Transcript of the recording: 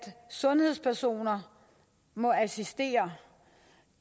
sundhedspersoner må assistere